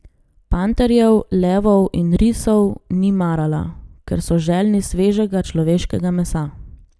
Panterjev, levov in risov ni marala, ker so željni svežega človeškega mesa.